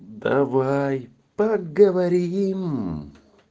давай поговорим